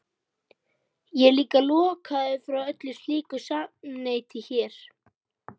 Ég er líka lokaður frá öllu slíku samneyti hér.